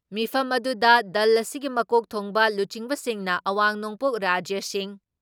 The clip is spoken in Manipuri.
ꯃꯤꯐꯝ ꯑꯗꯨꯗ ꯗꯜ ꯑꯁꯤꯒꯤ ꯃꯀꯣꯛ ꯊꯣꯡꯕ ꯂꯨꯆꯤꯡꯕꯁꯤꯡꯅ, ꯑꯋꯥꯡ ꯅꯣꯡꯄꯣꯛ ꯔꯥꯖ꯭ꯌꯁꯤꯡ